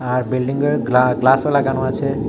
আর বিল্ডিংয়ে গ্লা গ্লাসও লাগানো আছে।